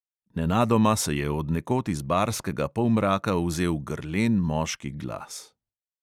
Nenadoma se je od nekod iz barskega polmraka vzel grlen moški glas.